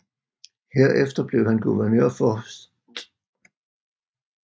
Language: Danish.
Herefter blev han guvernør for St